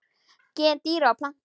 Gen dýra og plantna